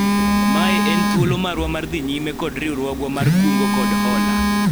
mae en thuolo marwa mar dhi nyime kod riwruogwa mar kungo kod hola